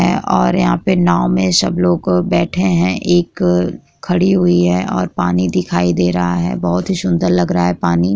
है और यहाँ पे नाव में सबलोग बैठे है एक खड़ी हुई है और पानी दिखाई दे रहा है बहोत ही सुंदर लग रहा है पानी --